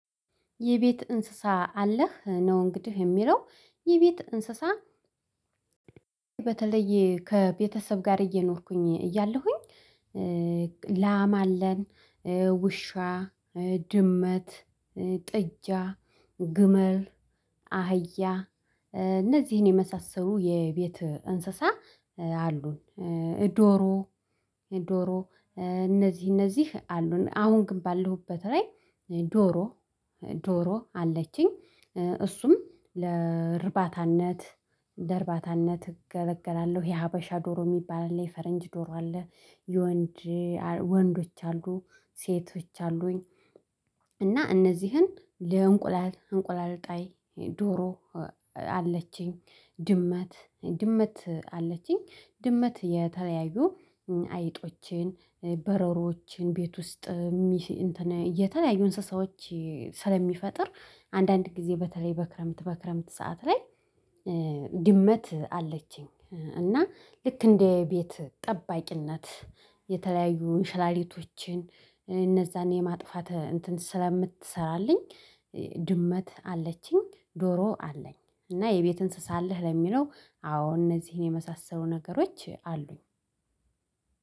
የቤት እንስሳ አለህ ነው እንግዲህ የሚለው የቤት እንስሳ በተለየ ከቤተሰብ ጋር እየኖርኩኝ እያለሁኝ ላም አለን ውሻ ድመት ጥጃ ግመል አህያ የመሳሰሉ የቤት እንስሳ አሉን። ዶሮ ዶሮ እነዚህ እነዚህ አሉን አሁን ግን ባለሁበት ላይ ዶሮ ዶሮ አለችኝ እሱም ለርባታነት ለርባታነት እገለገላለሁ ይሄ ሀበሻ ዶሮ የሚባል አለ የፈረንጅ ዶሮ አለ የወንድ ወንዶች አሉ ሴቶች አሉኝ። እና እነዚህን ለእንቁላል እንቁላል ጣይ ዶሮ አለችኝ ድመት ድመት አለችኝ ድመት የተለያዩ አይጦችን በረሮችን ቤት ውስጥ የተለያዩ እንስሳዎች ስለሚፈጥር አንዳንድ ጊዜ በተለይ በክረምት በክረምት ሰዓት ላይ ድመት አለችኝ። እና ልክ እንደ ቤት ጠባቂነት የተለያዩ ሽላሊቶችን እነዛን የማጥፋት እንትን ስለምትሰራልኝ ድመት አለችኝ። ዶሮ አለኝ እና የቤት እንስሳ አለህ ለሚለው አዎ እነዚህን የመሳሰሉ ነገሮች አሉኝ።